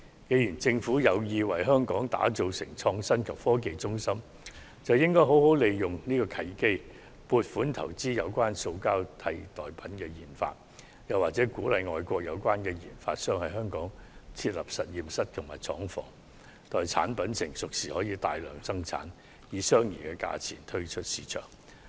既然政府有意把香港打造成創新及科技中心，便應好好利用這個契機，撥款投資進行塑膠代替品的研發，又或吸引外國研發商在香港設立實驗室及廠房，待產品成熟時便可大量生產，以相宜價格推出市場。